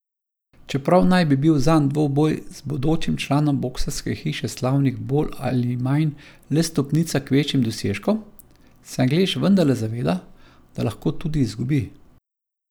Čeprav naj bi bil zanj dvoboj z bodočim članom boksarske hiše slavnih bolj ali manj le stopnica k večjim dosežkom, se Anglež vendarle zaveda, da lahko tudi izgubi.